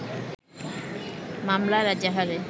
মামলার এজাহারে